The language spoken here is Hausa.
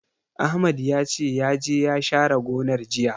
Ahmad ya ce, ya je ya share gonar, jiya.